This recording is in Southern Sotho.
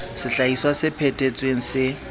sehlahiswa se phe thetsweng se